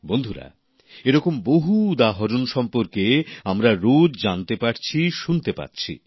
বন্ধুরা এরকম বহু উদাহরণ সম্পর্কে আমরা রোজ জানতে পারছি শুনতে পাচ্ছি